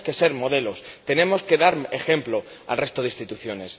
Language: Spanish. Tenemos que ser modelo, tenemos que dar ejemplo al resto de instituciones.